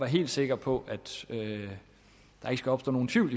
helt sikker på at der ikke opstår nogen tvivl